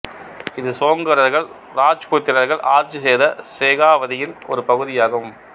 இது சோங்கரர்கள் ராஜ்புத்திரர்கள் ஆட்சி செய்த செகாவதியின் ஒரு பகுதியாகும்